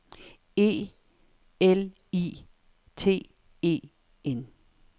E L I T E N